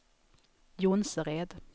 Jonsered